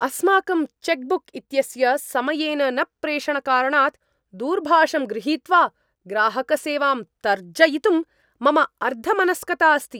अस्माकं cheque book इत्यस्य समयेन न प्रेषणकारणात् दूरभाषं गृहीत्वा ग्राहकसेवां तर्जयितुं मम अर्धमनस्कता अस्ति।